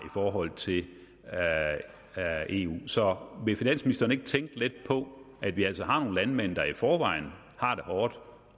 forhold til eu så vil finansministeren ikke tænke lidt på at vi altså har nogle landmænd der i forvejen har det hårdt